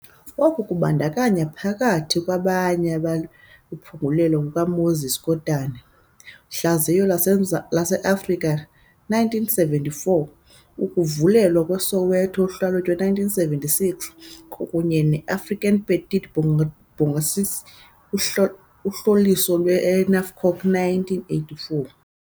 Oku kubandakanya, phakathi kwabanye, Ukuphengululwa kukaMoses Kotane- Uhlaziyo lwase-Afrika, 1974, Ukuvukelwa kweSoweto- Uhlalutyo, 1976, kunye neAfrican Petit Bourgeoisie- Uhlolisiso lwe-NAFCOC, 1984.